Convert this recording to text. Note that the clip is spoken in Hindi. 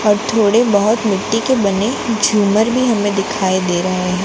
और थोड़े बहोत मिट्टी के बने झूमर भी हमें दिखाई दे रहे हैं।